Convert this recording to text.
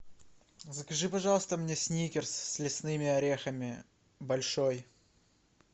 закажи пожалуйста мне сникерс с лесными орехами большой